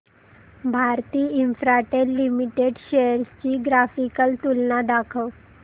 Bharti Infratel limited shares ची graphical तुलना दाखव